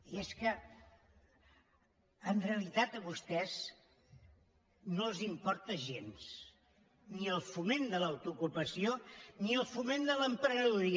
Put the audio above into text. i és que en realitat a vostès no els importen gens ni el foment de l’autoocupació ni el foment de l’emprenedoria